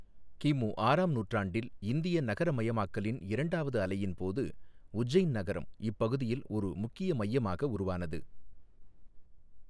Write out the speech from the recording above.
கிமு ஆறாம் நூற்றாண்டில் இந்திய நகரமயமாக்கலின் இரண்டாவது அலையின் போது உஜ்ஜைன் நகரம் இப்பகுதியில் ஒரு முக்கிய மையமாக உருவானது.